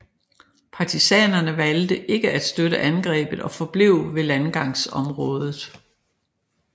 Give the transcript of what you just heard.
Partisanerne valgte ikke at støtte angrebet og forblev ved landgangsområdet